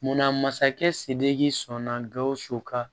Munna masakɛ sidiki sɔnna gawusu ka